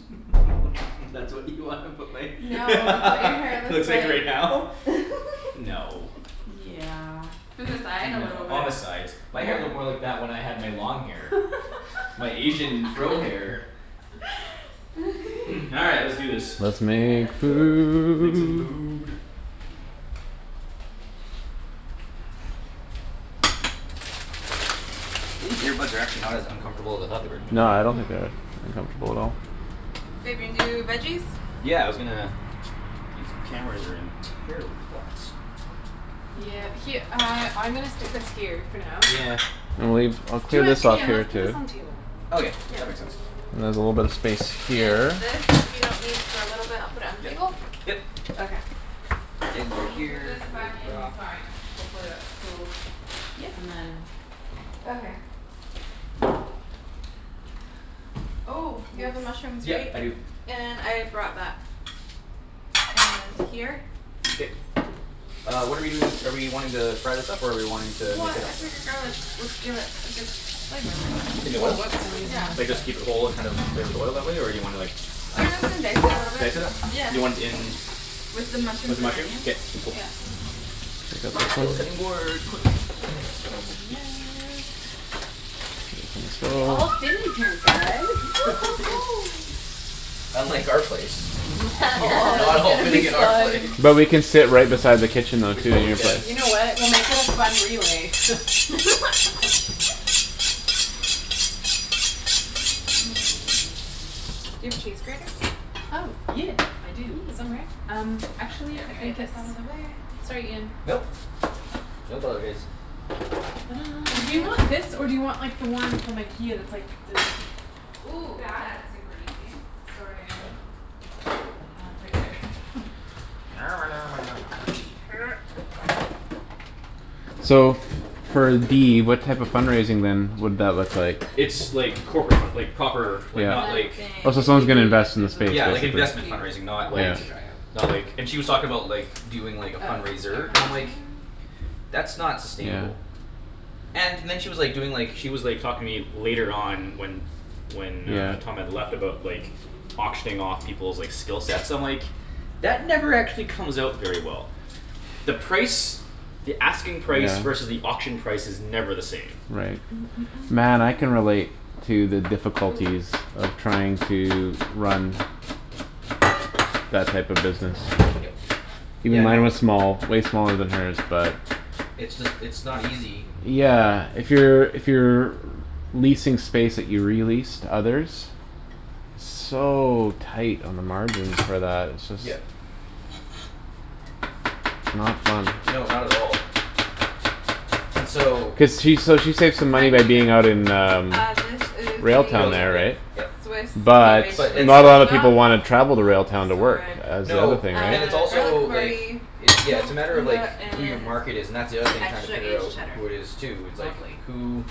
That's what you wanna put my No it's what your hair looks looks like like. right now? No. Yeah in the side a No, little bit. on the sides. My hair looked more What? like that when I had my long hair. My Asian fro hair. All right let's do this. Let's All right, make let's cook. Make some food. food. These earbuds are actually not as uncomfortable as I thought they were No gonna I don't be. Mm- think mm. they're comfortable at all. Babe, you wanna do th- veggies? Yeah, I was gonna These cameras are in terrible spots. Yeah, her- uh I'm gonna stick this here for now. Yeah. And leave I'll clear Do it this off Yeah. Ian, for you let's put this too. on the table. Okay, Yeah. that makes sense. And there's a little bit of space And here. this we don't need for a little bit I'll put it on Yep, table? yep. Okay. Ends are I'm gonna put this here, ready back to rock. inside. Hopefully that's cool Yeah. and then Okay. Oh you have the Oops. mushrooms Yeah, right? I do. And I brought that. And here. K. Uh what're we doing are we wanting to fry this up or are we wanting to make What it I figured garlic would give it a good flavor. In the oil? Oh oops, I'm using Yeah. Like this side. just keep it whole and just kind of flavor the oil that way or do you wanna like Oh yeah I was gonna dice it a little Dice it up? Do you want bit. it in With the With mushrooms the and mushrooms? onions, K, cool. yeah. Gonna steal a cutting board quick. And that We all So fit in here guys Unlike our place. We are Oh not all it's gonna fitting be in our place. fun. But we can sit right beside the kitchen though We too in totally your place. can. You know what? We'll make it a fun relay Do you have a cheese grater? Oh yeah I do Yeah. somewhere um I'm actually I gonna get think this it's outta the way sorry Ian. Nope. No apologize. Do you want this Inject. or do you want the one from Ikea that's like the Ooh, that? that's super easy. Sorry again. No. Uh it's right here So for D what type of fund raising then would that look like? It's like corporate fund- like proper like And not then like Yeah Oh so if someone's you Thank you. gonna need it invest in the there's a States, Yeah lid like basically. if investment you fundraising, not don't want like it Yeah. to dry out. Not like and Yeah. she was talking about like doing like a Uh fundraiser no and I'm like Um. "That's not sustainable" And then she was like doing like she was like talking to me later on when When uh Yeah. Tom had left about like Auctioning off peoples' like skill sets I'm like "That never actually comes out very well." The price the asking price versus Yeah. the auction price is never the same. Right. Man I can relate to the Ooh. difficulties of trying to run That type of business. Look at Yep. that. Even Yeah no. mine was small way smaller than hers but It's just it's not easy. Yeah, if you're if you're Leasing space that you re-lease to others. So tight on the margins for that. It's just Yep. Not fun. No, not at all. And so. Cuz she s- she saves What money kind by did you get? being out in um Uh this is Railtown the Railtown, there yep right? yep. Swiss cave But aged But gruyere it's not a that kinda we lotta got. people wanna Oh travel to Railtown to so work good. as the other No thing right? and it's Uh, garlic also like havarti, It's yeah it's a smoked matter of like gouda, who your and market is and that's the other thing tryin' to extra figure aged out cheddar. who it is too it's like Lovely. who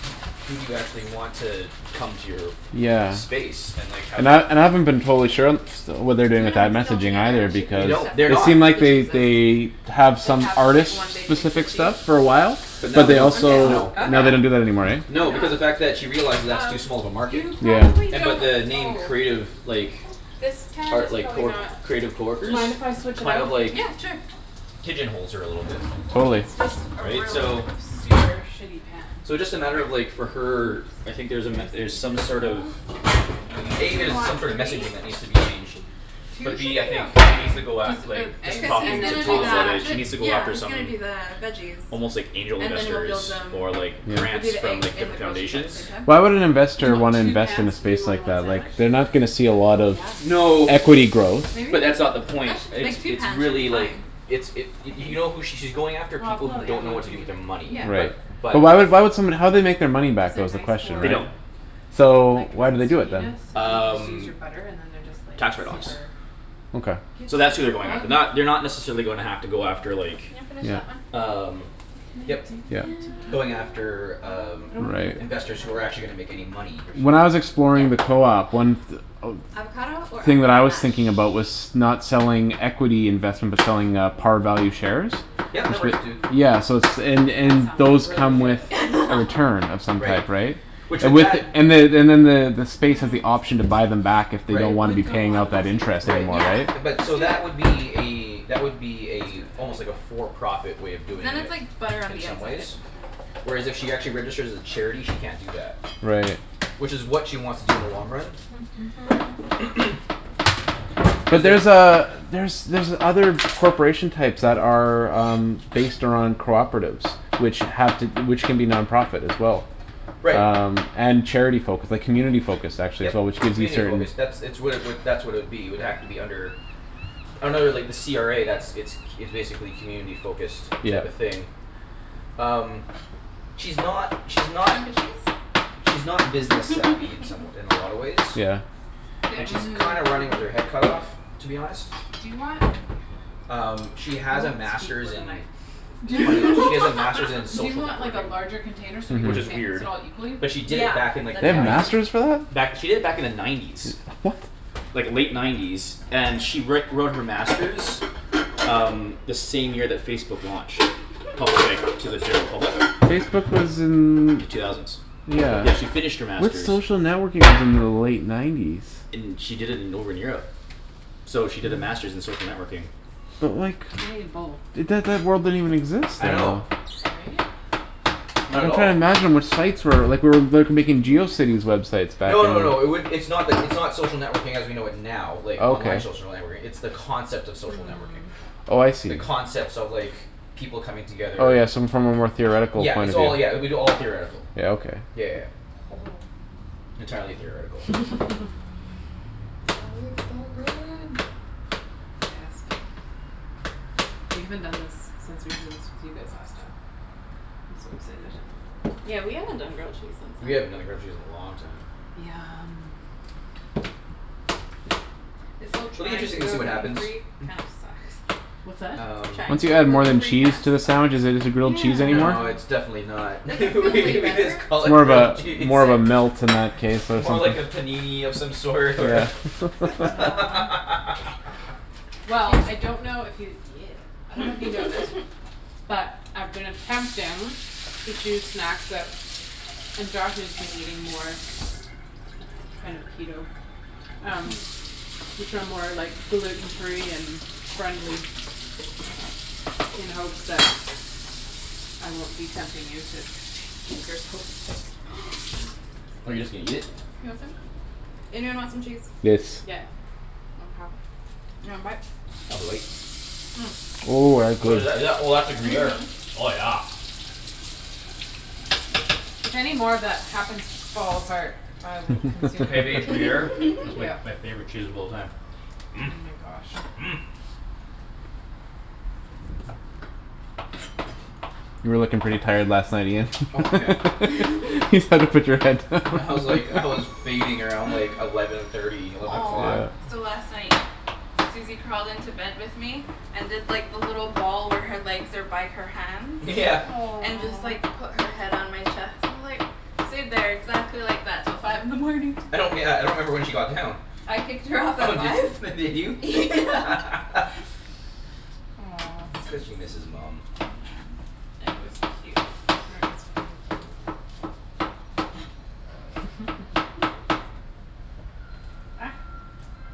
who do you actually want to come to your Yeah. space and like how And do I you and I haven't been totally sure and st- what they're Do doing you with wanna I mix it all messaging together or either should we They because do it don't. They're separate? It not. seemed like The they they cheeses. have Like some have just like artist one big mix specific of cheese? stuff for a while. But I'm But now they they don't, down also no. with Okay. now they that. don't do that anymore eh? Why No not? because of fact that she realizes that's too Um small of a market. you probably Yeah. And but don't the name oh Creative like This pan is Art like probably not. creative coworkers? Mind if I switch it Kind out? of like Yeah sure. Pigeon holes her a little bit. Totally. It's just a Right? really So super shitty pan So just a matter of like for her I think there's a There's met- er some this sort of one. Do A you there's want some sort of three? messaging that needs to be changed. Two But should B I be think she needs okay to go at Just like with just just eggs cuz he's and talking to then gonna do Tom dual about that sandwich it it? she needs to go yeah after he's some gonna do the veggies. Almost like angel And then we'll investors build them or like we'll Yeah. do grants the from eggs like and the different grilled cheese at the foundations same time. Why would an Do you investor want wanna two invest in pans a to do space more than like one that sandwich? like they're not gonna see a Oh lot of yeah. No. equity growth. Maybe? But that's not the point, it's Like two it's pans should really be like fine. It's it I y- think. you know who she's going after Well I'll people put who out the other don't know one if what to you do need with their it. money Yeah. but Right. But. But why why would somebody how would they make their money Cuz back though they're is the nice question, for They right? don't. um So like why do they do it non-stickiness then? and then you can just use Um your butter and then they're just like Tax write offs Yeah. super Okay. So Good that's as who they're a going bug. after. Ooh. Not they're not necessarily gonna have to go after like Can you finish Yeah. that one? Um What can I yep. Yep. do to help? Going after um I don't wanna cut the Right. investors who avocado are actually yet. gonna make any money. Or When should I was I? Yeah. exploring the co-op, one th- Avocado or thing that I avocado was mash? thinking about was not selling equity investment but I mean selling uh par value shares Yep that It works writ- too. yeah so it's and that and sounds those really come good. with return of some Right. type, right? Which And with with it that and the Hmm. and then the the space is the Mm, let's option do to this one. buy them back if they Right. don't It wanna be would go paying on out that easier. interest Right anymore, Yeah. right? but Let's so do it. that would be a that would be a Let's do it. I like almost like that. a for profit way of But doing then it's it like butter on in the some inside. ways. Whereas if she actually registers as a charity she can't do that. Right. Which is what she wants to do in the long run. But Cuz there's there's uh there's other corporation types that are um Based on cooperatives which have to which can be non-profit as well. Right. Um and charity focus like community focused actually is Yep. what which gives you Community certain focus. That's it's what it would that's what it would be it would have to be under Under like the CRA that's it's c- it's basically community focused type of Yep. thing. um She's not she's not Hunk o' She's not cheese? business-savvy in some wa- in a lot of ways. Yeah. Goat And she's cheese kind of running with her head cut off to be honest. Do you wanna Um she I has a won't speak master's with a in knife. Do funny she has a master's in do you social want like a networking. larger container so we Which can is Mhm. mix weird. it all equally? But she did Yeah, it back in They like that'd the be have great. K. nineties. masters for that? Back she did it back in the nineties. Like late nineties and she write wrote her master's Um the same year that Facebook launched. Pub- like to the general public. Facebook was in The two thousands. Yeah. Yeah she finished her What's master's social networking within the late nineties? In she did it in over in Europe. So she did the master's in social networking. But like I need a bowl. That that word didn't even exist I then know. though. Sorry. Not at I'm all. tryin' to imagine what sites were like we're like making Geocities websites back No no then. no it would it's not like it's not social networking as we know it now like online Okay. social networking it's the concept of social networking. Hmm. Oh I The see. concepts of like people coming Oh together yeah, so from a more theoretical Yeah point it's of all yeah it view. would be all theoretical. Yeah, okay. Yeah yeah yeah. Entirely theoretical. That looks so good. Gasp We haven't done this since we did this with you guys last time. I'm so excited. Yeah, we haven't done grilled cheese since We then. haven't done a grilled cheese in a long time. Yum. This whole It'll be trying to interesting to go see what gluten happens. free kinda sucks. What's that? Um. Trying Once to you go add more gluten than free kinda cheese to a sucks. sandwich is it is it grilled cheese anymore? No it's Yeah. definitely not Like I feel we way we better just call but it More of grilled a cheese. more of a melt in that case or More something. like a panini of some sort or Yeah, Naan Well I 'scuse. don't know if you yeah I dunno if you know this But I've been attempting to choose snacks that and Josh is eating more Kind of Keto Um which are more like gluten free and friendly in hopes that I won't be tempting you to eat Oh you're just gonna eat it? You want some? Anyone want some cheese? Yes. Yeah. Mkay, you want a bite? I'll have a bite. Ooh, that's What good. is that? Oh that's a gruyere. Mhm. Oh yeah. If any more of that happens to fall apart, I will consume Pavage it for you. gruyere is like Yeah. my favorite cheese of all time. Oh my gosh. You were lookin' pretty tired last night Ian. Oh yeah. Just had to put your head. I was like I was fading around like eleven thirty eleven Aw. o'clock. Yeah. So last night Susie crawled into bed with me And did like the little ball where her legs are by her hands Yeah. And just like put her head on my chest and just like Stayed there exactly like that till five in the morning. I don't yeah I don't remember when she got down. I kicked her off Oh at did five. f- did you? Yeah Aw It's cuz she Susie. misses mum. It was cute. is very cute. Ah,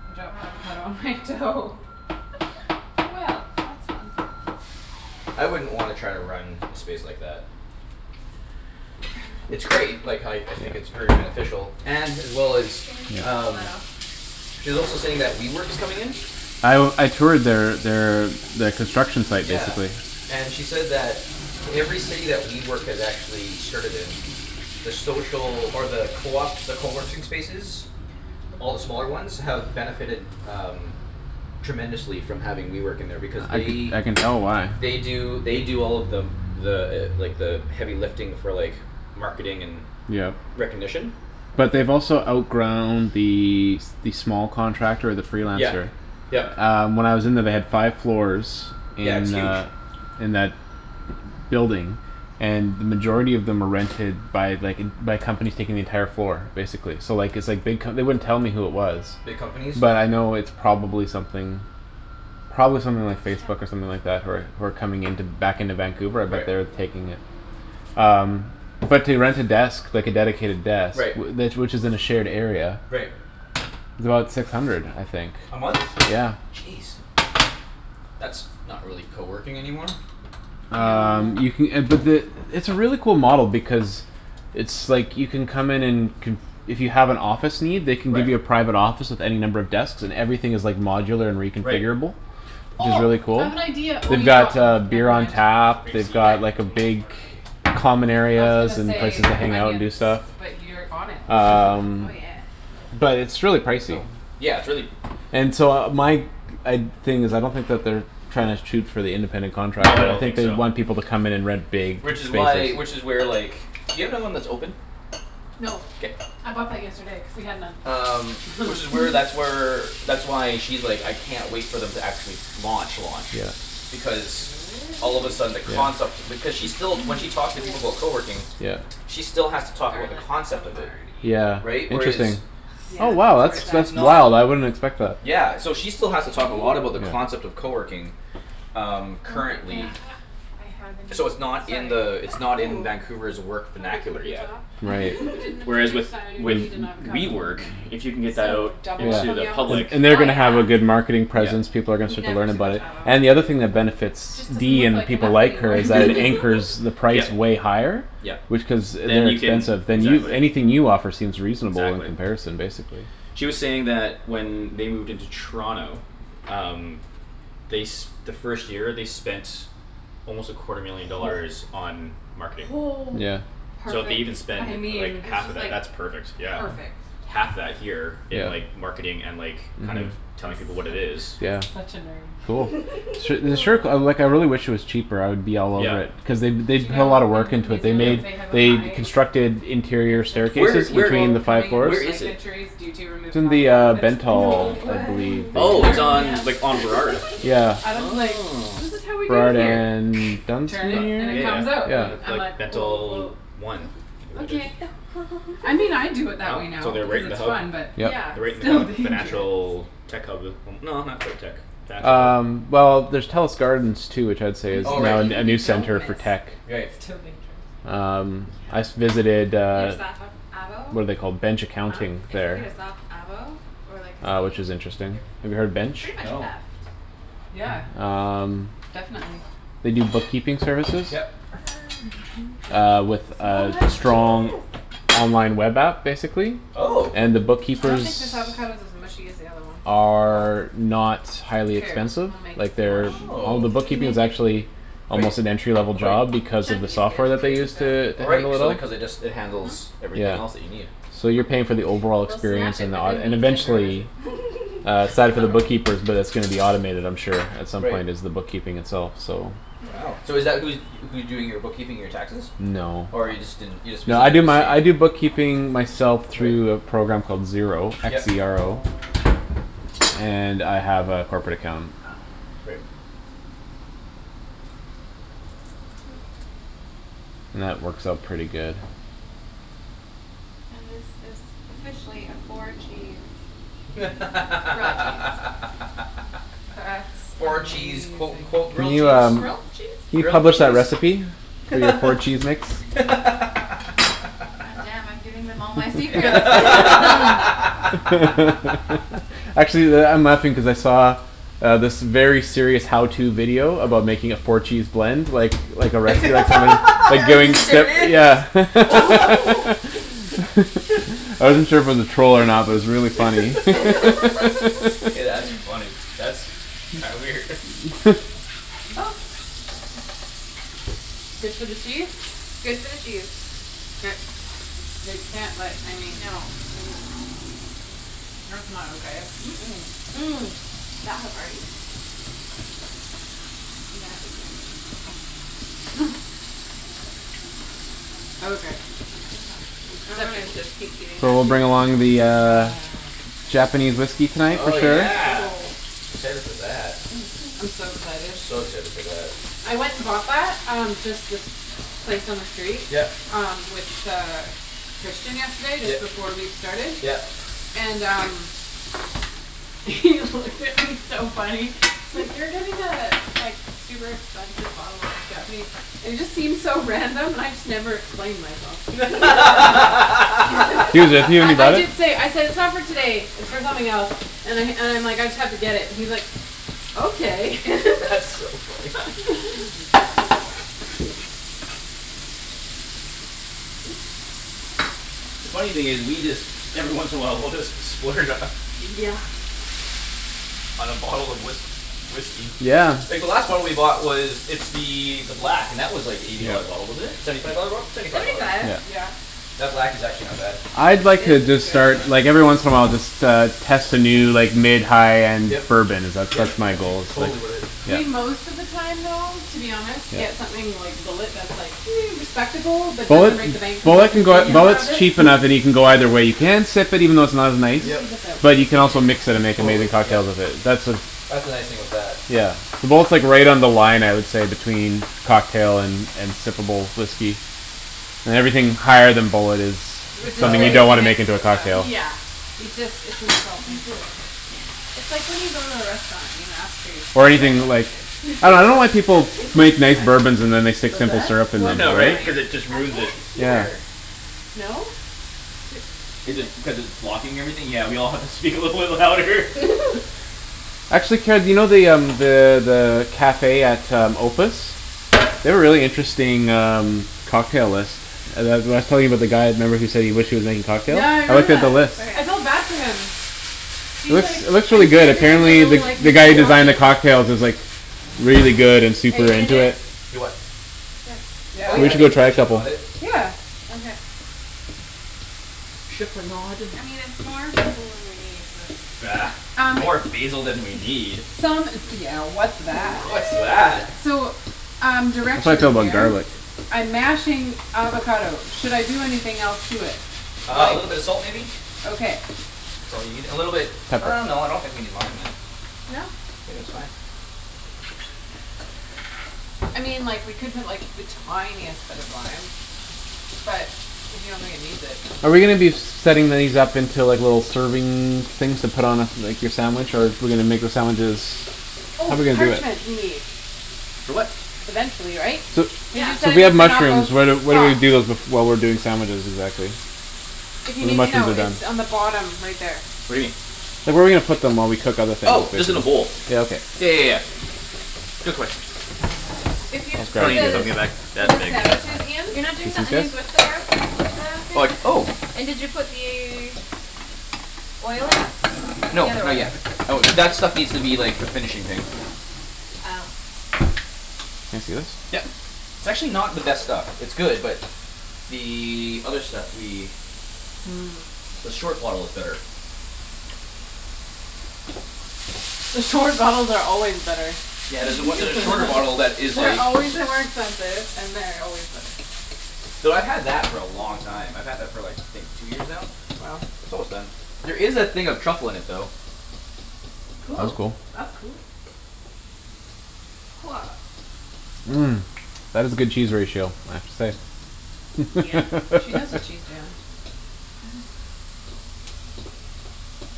I dropped avocado on my toe Well, that's fun. I wouldn't wanna try to run a space like that. It's great like how y- I think it's Yeah. very beneficial and as well as Can you just pull um that off? She's also saying that WeWork is coming in? I w- I toured their their their construction site Yeah basically. and she said that Every city that WeWork has actually started in The social or the coop the coworking spaces All the smaller ones have benefited um Tremendously from having WeWork in there because I can they I can tell why. They do they do all of the The like the heavy lifting for like marketing and Yep. recognition. But they've also outgrown the s- the small contractor the Yeah, freelancer. yep. Um when I was in there they had five floors Yeah, it's in huge. uh In that building And then majority of them were rented by like en- by companies taking the entire floor basically so like it's like big co- they wouldn't tell me who it was. Big companies. But I know it's probably something Probably something like Facebook or Ow. something like that who are who are coming into back into Vancouver but Right. they're taking uh Um but to rent a desk like a dedicated desk Right. wh- tha- which is in a shared area Right. Is about six hundred, I think. A month? Yeah. Jeez. That's not really coworking anymore. Um you No ca- uh but the it's a really cool model because It's like you can come in and conf- if you have an office need they can give you a Right. private office with any number of desks and everything is like modular and Right. reconfigurable. Which is Oh really I cool. have an idea oh They've you got got them, uh beer never on mind. tap, Grape they've Oops. seed got What? like a big Common I was gonna areas and places say to hang out and do onions stuff but you're on it Um Oh yeah. But it's really Oh pricey. yeah, it's really And so my g- I'd thing is I don't think that they're Tryin' to shoot for the independent No I don't contractor think they so. want people to come in and rent big Which is spaces. why which is where like do you have one that's open? No K. I bought that yesterday cuz we had none Um which is where that's where That's why she's like, "I can't wait for them to actually launch launch." Yeah. Because all of a sudden the concept Yeah. because she's still when she talks to people about coworking Yeah. She still has to talk about the Garlic concept of it. Yeah havarti. Right? interesting. Whereas Yeah, Oh wow it's where it's that's It's at. it's that's not wow I wouldn't expect that. Yeah, so she still has to talk a lot about the Okay Yeah. concept of coworking. Um Wonder currently. if Ah I have any. So it's not in Sorry. the it's not in Vancouver's work Sorry vernacular yet. computah Right. you didn't Whereas with predict so I would with need an avocado. WeWork, if you can get that So out double up Into on the the avos? public. Oh yeah, And they're gonna have a good marketing presence, Yeah. people are gonna start to never learn too about much it. avo. And the other thing that benefits Just doesn't D look and like people enough like her anymore is that anchors the price Yep. way higher. Yep. Which cuz Then you can inexpensive. Then Oops. you anything you offer seems reasonable in Exactly. comparison basically. She was saying that when they moved into Toronto Um they s- the first year they spent Almost a quarter million dollars on marketing. Yeah. So if they Perfect. even spend I like mean. It's half of just that like that's perfect yeah. perfect. Half that here Yes. in Yeah. like marketing and like kind of Mhm. I'm telling people what su- it is I'm Yeah. such a nerd. Cool. Su- the sure co- like I really wish it was cheaper I would be all Yeah. over it. Cuz they b- Do they you put a know lotta work in into New it. Yep. Zealand they have a They high constructed interior incidence Where of staircases where between people the five coming in i- where with floors. is knife it? injuries due to It's removing in the avocado um pits? No Bentall I believe the way Oh it's Apparently on yeah. like on Burrard. Yeah. Adam's like, Oh. "This is how we do it Burrard here and turn it, Dun- and it Yeah Dunsmuir? comes out", yeah and Yeah. I'm like like like "Oh Bentall well". One. Okay. I mean I do it that Oh way so now they're because right in it's the hub. fun but Yeah. Yep. They're right it's in the still kind of the dangerous financial tech hub no not quite tech. Financial. Um well there's Telus Gardens too which I would say Even is if you Oh right. now d- a even a if you new don't center for miss tech. Right. it's still dangerous Um I s- Yeah. visited You uh got avo What're they called, Bench Huh? Accounting If you get there. a soft avo or like a Uh which seed is interesting. Have you you're heard f- Bench? pretty much No. effed. Yeah. Um Definitely. They do bookkeeping services. Yep. Uh with So a much strong cheese. online web app basically. Oh. And the I don't think bookkeepers this avocado's as mushy as the other one. Oh well. Are not Who highly cares, expensive. we'll make it Like smash. they're all the Oh. We'll bookkeeping is make it. actually Quite Almost an entry level quite. job because of the Chunky's good software that they too, use so. to Oh right handle it so all. they cuz it just it Mhm. handles everything else that Yeah. you need. So you're paying for the overall We'll smash experience it and the with a aut- and meat tenderizer. eventually Uh I side for the dunno. bookkeepers but it's gonna be automated I'm sure at some Right. point is the bookkeeping itself so. Wow Mkay. so is that who's who's doing your bookkeeping your taxes? No. Or you just didn't you just No I visited do to my I do see? bookkeeping myself Right. through a program called Xero, x Yep. e r o. And I have a corporate account. Right. That works out pretty good. And this is officially a four cheese grilled cheese. That's Four cheese amazing. quote unquote Can grilled cheese? Grilled cheese? you Grilled publish a cheese? recipe? For your four cheese mix? God damn, I'm giving them all my secrets Actually that I'm laughing cuz I saw Um this very serious how to video about making a four cheese blend like like a restaurant or Are you serious? something I wasn't sure if it was a troll or not but it was really funny Hey that's funny. That's kinda weird. Good for the cheese? Good for the cheese. K. They can't let I mean No. That's not okay. Mm- mm, That havarti. That is yummy. Okay, acceptable. So we'll bring along the uh Nah. Japanese whiskey tonight for Oh sure. yeah. Excited for that. Mhm. I'm so excited. So excited for that. I went and bought that um just this place on the street Yep. um with uh Christian yesterday just Yep, before we started yep. and um He looked at me he's so funny. He's like, "You're getting a like super expensive bottle of Japanese". And it just seemed so random and I just never explained myself. I nearly I bought it? did say, I said, "It's not for today. It's for something else." And I and I'm like, "I just have to get it." and he's like, "Okay." That's so funny. Oops. The funny thing is we just every once in a while we'll just splurge on Yeah. On a bottle of whisk- whiskey. Yeah. Like the last bottle we bought was it's the the black and that was like eighty Yeah. dollar a bottle wasn't it? Seventy five dollar bottle? Seventy five Seventy dollar bott- five. Yeah. Yeah. That black is actually not bad. I'd like uh to It's start good. like every once in a while just uh test a new like mid high end Yep bourbon is that's yep that's my that's ex- goal it's like totally worth it. yeah We most of the time though to be honest Yeah. get something like Bulleit that's like respectable but Bulleit doesn't break the bank cuz we Bulleit can can go consume more of Bulleit's it cheaper now that you can go either way you can sip it even though it's not I'm nice. gonna Yep. leave this out But because you we can need also it mix it and again. make Totally, amazing yep. cocktails with it that's uh That's the nice thing with that. Yeah. Yeah. Bulleit's right on the line I would say between cocktail and and sippable whiskey. And everything higher than Bulleit is R- Is kinda something you like disgrace don't to wanna mix make into a with stuff. cocktail. Yeah. It just it's We insulting. just can't. It's like when you go to a restaurant and you ask for your Or steak well using done. like I dunno I don't like What's people who make nice bourbons and then they the point? stick What's simple that? syrup in them What's the Yeah right right? point? cuz it just I can't ruins it. Yeah. hear. No? Is it cuz it's blocking everything? Yeah we all have to speak a little bit louder Actually, Ped you know the um the the cafe at um Opus? They have a really interesting um cocktail list Uh the w- I was telling you about the guy remember who said he wished he was making cocktails? Yeah I I looked remember at the that. list. I Okay. felt bad for him. It He's like, looks it looks really "I'm good. here because I Apparently the really like the guy who making designs the cocktails." cocktails is like Really good and Are super you gonna do into it. it? Do what? This. Oh Yeah? yeah We I should can go try a like chip in couple. a bit. Yeah. Okay. Chiffonade I mean it's more basil than we need, but Bah, Um more basil than we need? Some d- yeah what's that? What's What? that? So um I plan to direction fill up in on here. garlic. I'm mashing avocado. Should I do anything else to it? Uh a Like, little bit of salt maybe? okay. That's all you need a little bit Pepper. uh no I don't think we need lime in it. No. Think that's fine. I mean like we could put like the tiniest bit of lime. But if you don't think it needs it Are we gonna then be setting these up into like little serving things to put on a like your sandwich or are we gonna make the sandwiches How're Oh, we gonna do parchment it? we need. For what? Eventually, right? So Cuz Yeah. you so said we we have need to not go mushrooms. What are what do we soft. do while we're doing sandwiches exactly? If you When the need to mushrooms know, are it's done. on the bottom right there. What do you mean? Like where are we gonna put them while we cook other Oh things just in in a there? bowl. Yeah Yeah okay. yeah yeah yeah. Good question If you for the for that the big. sandwiches, Ian You're not doing Is the this onions with his? the gar- with the Like thing? oh And did you put the Oil in? No The other not oil. yet. That was that stuff needs to be like a finishing thing. Oh. Can I see this? Yep. It's actually not the best stuff. It's good but The other stuff we The short bottle is better. The short bottles are always better. Yeah there's a on- there's a shorter bottle that is They're like always way more expensive and they're always better. Though I've had that for a long time. I've had that for like I think two years now? Wow. It's almost done. There is a thing of truffle in it though. That's Cool. cool. That's cool. That is a good cheese ratio I have to say. Yep. She knows what she's doin'.